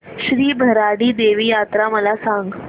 श्री भराडी देवी यात्रा मला सांग